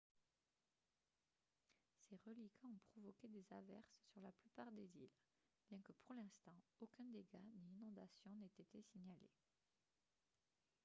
ses reliquats ont provoqué des averses sur la plupart des îles bien que pour l'instant aucun dégât ni inondation n'ait été signalé